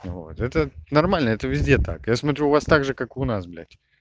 вот это нормально это везде так я смотрю у вас так же как у нас блядь